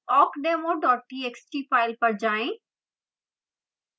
awkdemo txt file पर जाएं